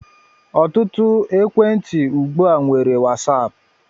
Ọtụtụ ekwentị ugbu a nwere Wasaap.